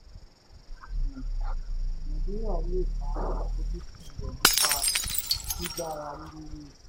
nàìjíríà lè bá àfojúsùn rẹ̀ nípa gbígbára lé e.